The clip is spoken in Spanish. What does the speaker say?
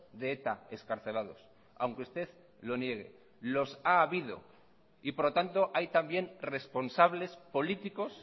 de eta excarcelados aunque usted lo niegue los ha habido y por lo tanto hay también responsables políticos